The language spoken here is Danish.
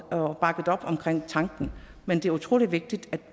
og har bakket op omkring tanken men det er utrolig vigtigt